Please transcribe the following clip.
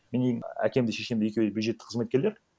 менің әкем де шешем де екеуі бюджеттік қызметкерлер